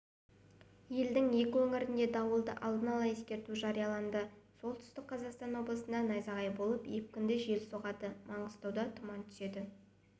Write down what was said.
елдің екі өңіріне дауылды алдын ала ескерту жарияланды солтүстік қазақстан облысында найзағай болып екпінді жел соғады маңғыстауға тұман түседі